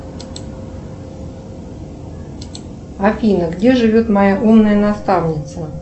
афина где живет моя умная наставница